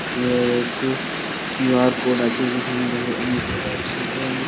ইয়ে এক Q R code আছে যেখানে দেখো অনেক প্রকার ।